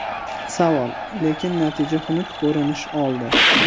Savol: Lekin natija xunuk ko‘rinish oldi.